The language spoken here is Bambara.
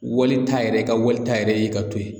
Walita yɛrɛ i ka walita yɛrɛ ye ka to yen